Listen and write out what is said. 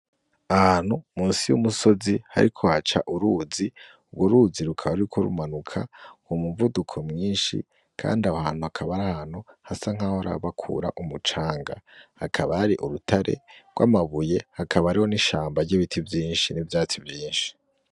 Ahantu musi y'Umusozi hariko haca uruzi urworuzi rukaba ruriko rumanuka k'umuvuduko mwinshi Kandi aho hantu hakaba ari ahantu hasa nkaho bahora bakura umucanga , hakaba hari urutare rw'amabuye hakaba hariho n'ishamba ry'ibiti vyinshi n'ivyatsi vyinshi.